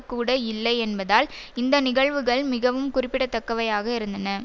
கூட இல்லை என்பதால் இந்த நிகழ்வுகள் மிகவும் குறிப்பிடத்தக்கவையாக இருந்தன